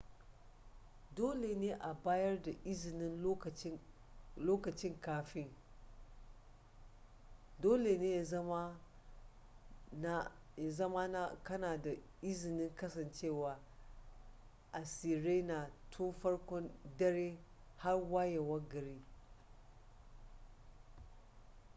dole ne a bayar da izinin lokaci kafin dole ne ya zama na kana da izinin kasancewa a sirena tun farkon dare har wayewar gari